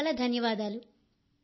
చాలా చాలా ధన్యవాదాలు